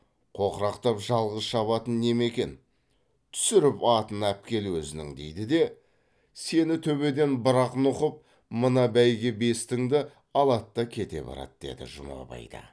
қоқырақтап жалғыз шабатын неме екен түсіріп атын әпкел өзінің дейді де сені төбеден бір ақ нұқып мына бәйге бестіңді алады да кете барады деді жұмабай да